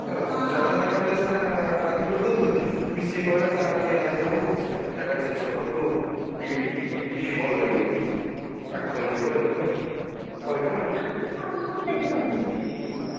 ଜଣେ ଜଣେ କହିଲେ ସିନା ବାଧ୍ୟ କରିଦଉଛନ୍ତି ମିଶିକି କହିବ sir ଆମେ କେହି ରାଜି ନାହୁଁ ଜାଗା change କରନ୍ତୁ ଏଇଠି picnic ଭଲ ଲାଗିବନି ପାଖ ହେଇଯିବ ଏମତି ଆଉ କହିବ ହେଲା ତାକୁ ବି ସମସ୍ତେ ଦେଖିଛନ୍ତି।